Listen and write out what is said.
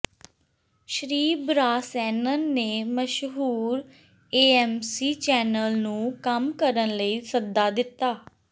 ਸ਼੍ਰੀ ਬ੍ਰਾਸੈਨਨ ਨੇ ਮਸ਼ਹੂਰ ਏਐਮਸੀ ਚੈਨਲ ਨੂੰ ਕੰਮ ਕਰਨ ਲਈ ਸੱਦਾ ਦਿੱਤਾ